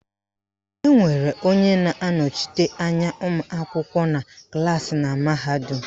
Enwere onye na-anọchite anya ụmụakwụkwọ na klaasị na mahadum